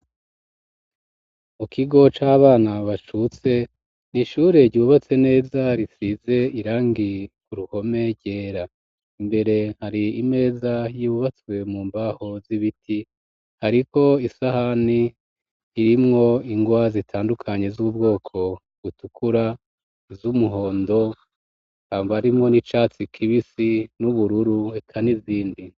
Mu kigo cabana bacutse nishure yiubatse neza risize irangi ku ruhome gyera imbere hari imeza y'ibubatswe mu mbaho z'ibiti hariko isahani irimwo ingwa zitandukanye z'ubwoko gutukura z'umuhondo kanga arimo n'icatsi kibisi n'ubururu reka n'izindi.